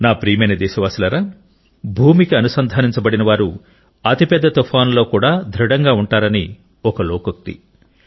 నా ప్రియమైన దేశవాసులారా భూమికి అనుసంధానించబడినవారు అతిపెద్ద తుఫానులలో కూడా దృఢంగా ఉంటారని ఒక లోకోక్తి